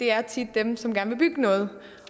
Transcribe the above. er tit dem som gerne vil bygge noget